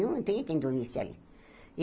Não tinha quem dormisse ali. E